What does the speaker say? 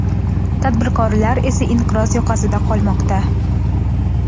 tadbirkor esa inqiroz yoqasida qolmoqda.